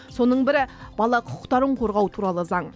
соның бірі бала құқықтарын қорғау туралы заң